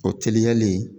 O teliyalen